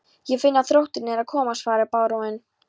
Ég finn að þrótturinn er að koma, svaraði baróninn.